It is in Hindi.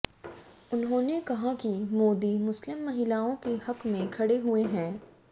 उन्होंने कहा कि मोदी मुस्लिम महिलाओं के हक में खड़े हुए है